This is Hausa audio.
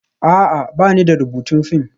A'a, ba ni da rubutun fim